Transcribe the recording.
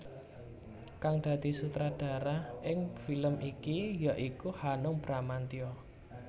Kang dadi sutradara ing film iki ya iku Hanung Bramantya